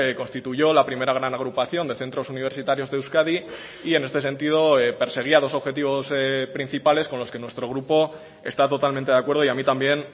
constituyó la primera gran agrupación de centros universitarios de euskadi y en este sentido perseguía dos objetivos principales con los que nuestro grupo está totalmente de acuerdo y a mí también